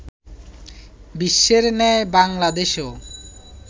বিশ্বের ন্যায় বাংলাদেশেও